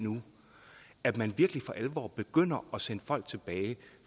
at man virkelig for alvor begynder at sende folk tilbage at